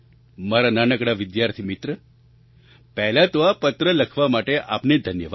મારા નાનકડા વિદ્યાર્થી મિત્ર પહેલા તો આ પત્ર લખવા માટે આપનો ધન્યવાદ